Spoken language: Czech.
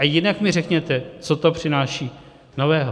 A jinak mi řekněte, co to přináší nového.